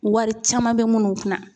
Wari caman bɛ minnu kun na